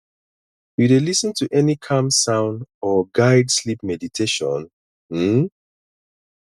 you dey lis ten to any calm sound or guide sleep meditation um